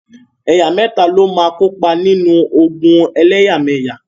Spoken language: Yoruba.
Ẹ̀yà mẹ́ta ló máa kópa nínú ogun ẹlẹ́yàmẹyà.